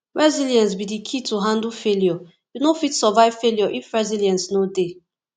resilience be di key to handle failure you no fit survive failure if resilience no dey